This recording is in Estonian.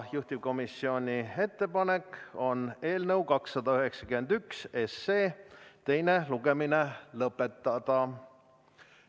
Juhtivkomisjoni ettepanek on eelnõu 291 teine lugemine lõpetada.